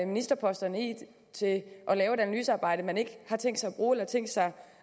ministerposterne i til at lave et analysearbejde man ikke har tænkt sig